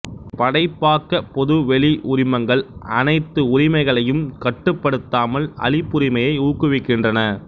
படைப்பாக்கப் பொதுவெளி உரிமங்கள் அனைத்து உரிமைகளையும் கட்டுப்படுத்தாமல் அளிப்புரிமையை ஊக்குவிக்கின்றன